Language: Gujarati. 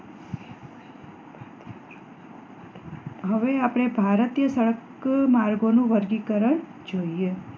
હવે આપણે ભારતીય સડક માર્ગો નું વર્ગીકરણ જોઈએ